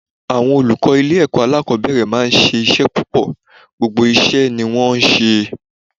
Àwọn olùkọ́ ilé ẹ̀kọ́ alákòbẹ̀rẹ̀ máa ń ṣe iṣẹ́ púpọ̀, gbogbo iṣẹ́ ni wón ń ṣe.